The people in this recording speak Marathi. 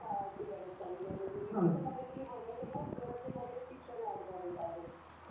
काळाची गरज झालेली आहे...म्हणजे मी तर म्हणेन मुलभूत गरजांमध्ये शिक्षण ऍड झालेल आहे